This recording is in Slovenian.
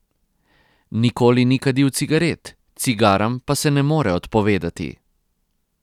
Nikoli ni kadil cigaret, cigaram pa se ne more odpovedati.